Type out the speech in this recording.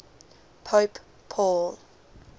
pope paul